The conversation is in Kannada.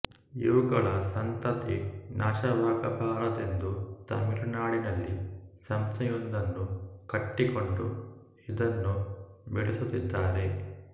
ಇವುಗಳ ಸಂತತಿ ನಾಶವಾಗಬಾರದೆಂದು ತಮಿಳುನಾಡಿನಲ್ಲಿ ಸಂಸ್ಥೆಯೊಂದನ್ನು ಕಟ್ಟಿಕೊಂಡು ಇದನ್ನು ಬೆಳೆಸುತ್ತಿದ್ದಾರೆ